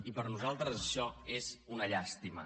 i per nosaltres això és una llàstima